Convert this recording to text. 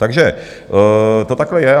Takže to takhle je.